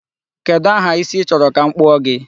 Kedụ aha isi ị chọrọ ka m kpụọ gị?